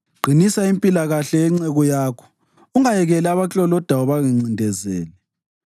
Qinisa impilakahle yenceku yakho; ungayekeli abaklolodayo bangincindezele.